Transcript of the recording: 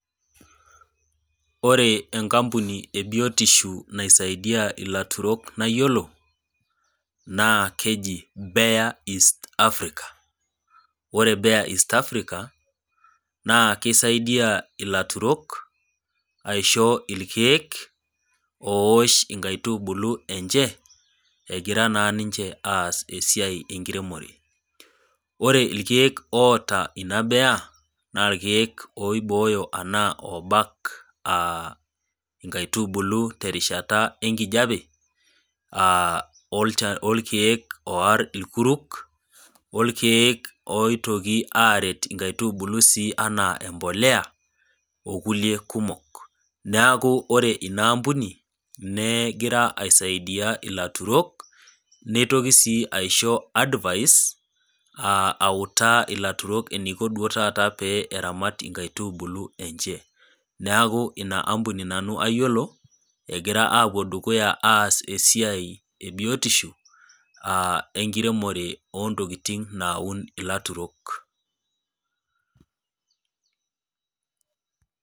Ore enkampuni ebiotisho naisaidia ilaturok nayiolo naa keji bare east Africa ore bare east Africa naa kisaidia ilaturok isho irkeek oosh inkaitubulu enye egira naa ninche aas esiai enkiremore ,ore ikeeek oota ina bare naa ikeek oibooyo anaa loobak inkaitubulu terishata enkijepe, orekeek ooar irkuruk ,orekeek oitoki sii aret nkaitubulu enaa embolea ikulie kumok ,neeku ore eina ambuni egira iasiadia ilaturok neitoki sii aisho advise autaa ilairemok eniko duo taata mee eramat inakitubulu enye .neeku ina ambuni nanu ayiolo egira apuo dukuya aas esiai ebiotisho enkiremore oontokiting naun ilaturok.